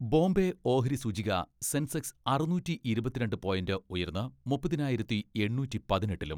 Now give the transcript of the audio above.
ബോംബെ ഓഹരി സൂചിക സെൻസെക്സ് അറുനൂറ്റി ഇരുപത്തിരണ്ട് പോയിന്റ് ഉയർന്ന് മുപ്പതിനായിരത്തി എണ്ണൂറ്റി പതിനെട്ടിലും